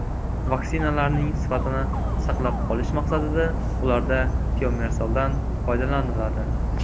Vaksinalarning sifatini saqlab qolish maqsadida ularda tiomersaldan foydalaniladi.